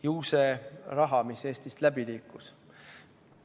Ju see on raha, mis Eestist läbi liikus.